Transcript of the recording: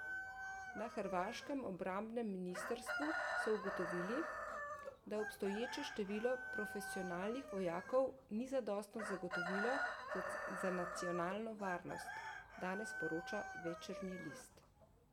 Na hrvaškem obrambnem ministrstvu so ugotovili, da obstoječe število profesionalnih vojakov ni zadostno zagotovilo za nacionalno varnost, danes poroča Večernji list.